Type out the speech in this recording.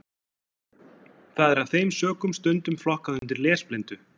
Það er af þeim sökum stundum flokkað undir lesblindu.